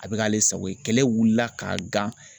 A bɛ k'ale sago ye kɛlɛ wulila k'a gan.